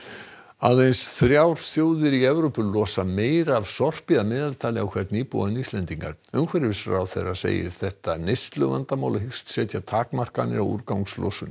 aðeins þrjár þjóðir í Evrópu losa meira af sorpi að meðaltali á hvern íbúa en Íslendingar umhverfisráðherra segir þetta neysluvandamál og hyggst setja takmarkanir á úrgangslosun